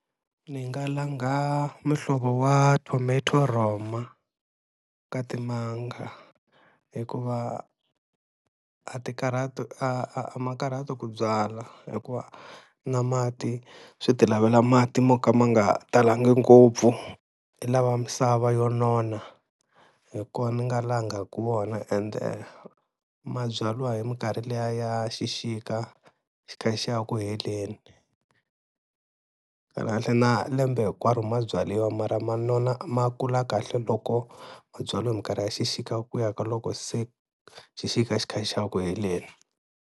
Ni nga langha muhlovo wa tomato roma ka timanga hikuva a ti karhati a a ma karhati ku byala. Hikuva na mati swi ti lavela mati mo ka ma nga talangi ngopfu, i lava misava yo nona hi kona ni nga langaku wona, ende mabyaliwa hi minkarhi liya ya xixika xi kha xi ya ku heleni. Kahlekahle na lembe hinkwaro mabyaliwa mara ma nona ma kula kahle loko mabyaliwa hi mikarhi ya xixika ku ya ka loko se xixika xi kha xi ya ku heleni.